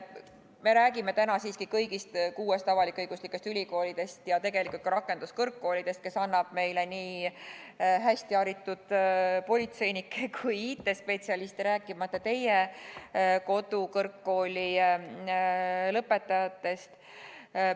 Me räägime täna siiski kõigist kuuest avalik-õiguslikust ülikoolist ja tegelikult ka rakenduskõrgkoolidest, kes annavad meile hästi haritud politseinikke ja IT-spetsialiste, rääkimata teie kodukõrgkooli lõpetajatest.